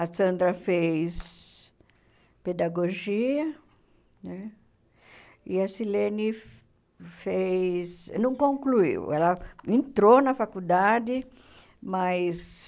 A Sandra fez pedagogia né, e a Silene fez... Não concluiu, ela entrou na faculdade, mas...